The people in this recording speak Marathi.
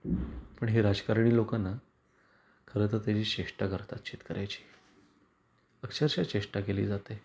पण हे राजकारणी लोकना खरं तर त्याची चेष्टा करतात शेतकऱ्याची. अक्षरशः चेष्टा केली जाते.